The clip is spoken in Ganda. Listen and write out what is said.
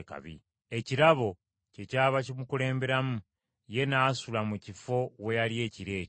Ekirabo kyekyava kimukulemberamu, ye n’asula mu kifo we yali ekiro ekyo.